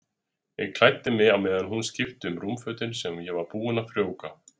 Ég klæddi mig á meðan hún skipti um rúmfötin sem ég var búinn að frjóvga.